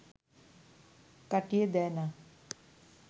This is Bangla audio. কাটিয়ে দেয় না